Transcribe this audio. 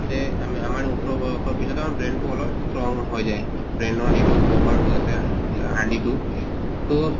আছে আম আমাৰ ওঠৰʼ বয়সৰ পিছত আমাৰ brain তো অলপ strong হৈ যায় brain ৰ যিটো cover তো আছে হাদ্দি টো তʼ